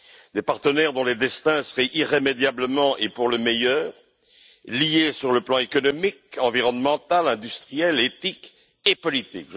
Des partenaires dont les destins seraient irrémédiablement et pour le meilleur liés sur le plan économique, environnemental, industriel, éthique et politique.